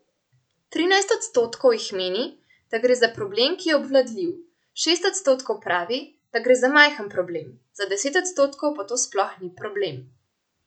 Trinajst odstotkov jih meni, da gre za problem, ki je obvladljiv, šest odstotkov pravi, da gre za majhen problem, za deset odstotkov pa to sploh ni problem.